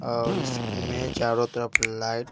और इसमें चारों तरफ लाइट --